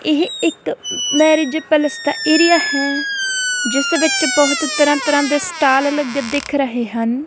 ਇਹ ਇੱਕ marriage palace ਦਾ ਏਰੀਆ ਹੈ ਜਿਸ ਵਿੱਚ ਬਹੁਤ ਤਰ੍ਹਾਂ ਤਰ੍ਹਾਂ ਦੇ ਸਟਾਲ ਲਗੇ ਦਿਖ ਰਹੇ ਹਨ।